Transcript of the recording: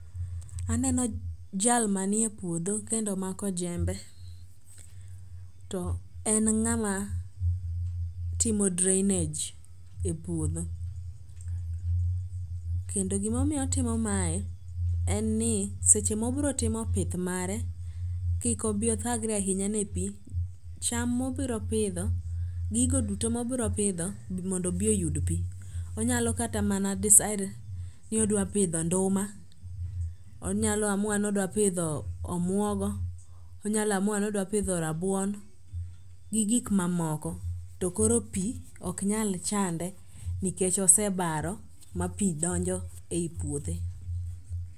Aneno jal manie puodho kendo omako jembe to en ng'ama timo drainage e puodho. Kendo gimomiyo otimo mae, en ni seche mobrotimo pith mare kik obiyothagre ahinya ne pi, cham mobropidho, gigo duto mobropidho mondo obi oyud pi. Onyalo kata mana decide ni odwa pidho nduma, onyalo amua ni odwa pidho omwogo, onyalo amua ni odwa pidho rabuon gi gik mamoko to koro pi oknyal chande nikech osebaro ma pi donjo e i puothe.